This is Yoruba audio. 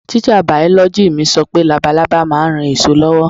Tíṣà bìọ̀lọ́gì mi sọ pé labalábá ma ń ran èso lọ́wọ́.